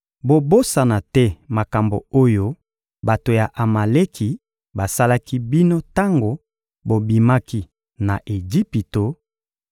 Bobosana te makambo oyo bato ya Amaleki basalaki bino tango bobimaki na Ejipito: